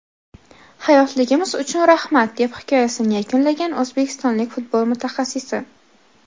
Hayotligimiz uchun rahmat”, deb hikoyasini yakunlagan o‘zbekistonlik futbol mutaxassisi.